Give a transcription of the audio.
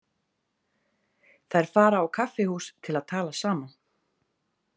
Þær fara á kaffihús til að tala saman.